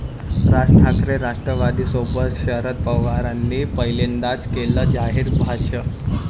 राज ठाकरे राष्ट्रवादीसोबत? शरद पवारांनी पहिल्यांदाच केलं जाहीर भाष्य